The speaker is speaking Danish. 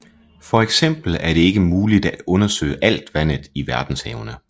For eksempel er det ikke muligt at undersøge alt vandet i verdenshavene